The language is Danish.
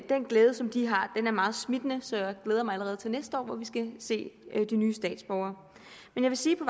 glæde som de har er meget smittende så jeg glæder mig allerede til næste år hvor vi skal se de nye statsborgere jeg vil sige på